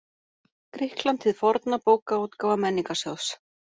Grikkland hið forna Bókaútgáfa Menningarsjóðs.